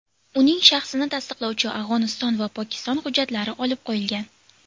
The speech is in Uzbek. Uning shaxsini tasdiqlovchi Afg‘oniston va Pokiston hujjatlari olib qo‘yilgan.